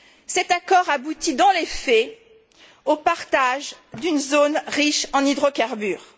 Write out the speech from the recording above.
Cet accord aboutit, dans les faits, au partage d'une zone riche en hydrocarbures.